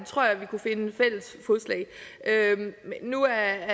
tror jeg vi kunne finde fælles fodslag nu er